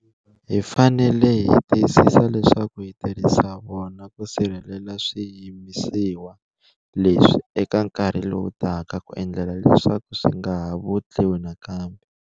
Hi fanele hi tiyisisa leswaku hi tirhisa vona ku sirhelela swiyimisiwa leswi eka nkarhi lowu taka ku endlela leswaku swi nga ha vutliwi nakambe.